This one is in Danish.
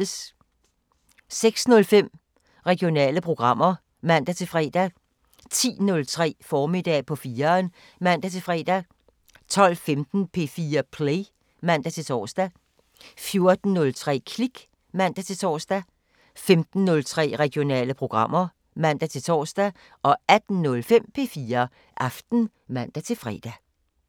06:05: Regionale programmer (man-fre) 10:03: Formiddag på 4'eren (man-fre) 12:15: P4 Play (man-tor) 14:03: Klik (man-tor) 15:03: Regionale programmer (man-tor) 18:05: P4 Aften (man-fre)